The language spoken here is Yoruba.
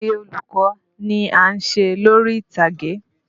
Ayeye olùkọ́ ni à ń ṣe lórí ìtàgé.